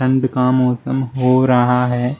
धुंध का मौसम हो रहा है।